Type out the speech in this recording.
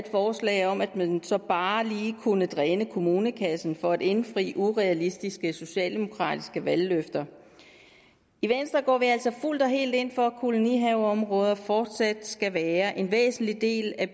forslag om at man så bare lige kunne dræne kommunekassen for at indfri urealistiske socialdemokratiske valgløfter i venstre går vi altså fuldt og helt ind for at kolonihaveområder fortsat skal være en væsentlig del af